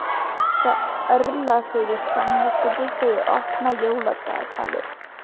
Það örlar fyrir samviskubiti þegar ég opna jóladagatalið.